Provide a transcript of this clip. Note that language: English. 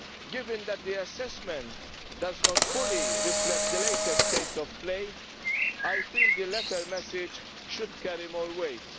Given that the assessment does not fully reflect the latest state of play, I feel the latter message should carry more weight.